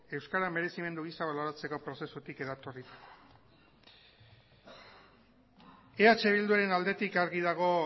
euskara merezimendu gisa baloratzeko prozesutik eratorritakoa eh bilduaren aldetik argi dago